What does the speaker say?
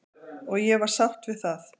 Og ég var sátt við það.